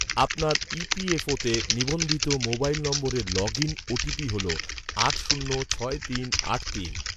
আপনার, ই.পি.এফ.ওতে নিবন্ধিত মোবাইল নম্বরের লগ ইন ওটিপি হল, আট শূন্য ছয় তিন আট তিন